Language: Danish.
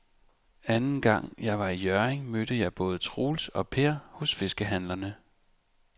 Anden gang jeg var i Hjørring, mødte jeg både Troels og Per hos fiskehandlerne.